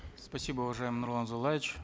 спасибо уважаемый нурлан зайроллаевич